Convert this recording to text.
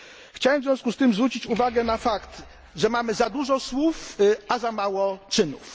Chciałem w związku z tym zwrócić uwagę na fakt, że mamy za dużo słów, a za mało czynów.